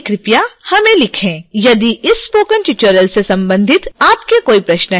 यदि इस spoken tutorial से संबंधित आपके कोई प्रश्न है तो कृपया इस साइट पर जाएं